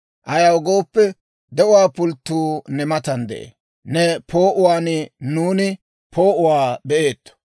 Ayaw gooppe, de'uwaa pulttuu ne matan de'ee; Ne poo'uwaan nuuni poo'uwaa be'eetto.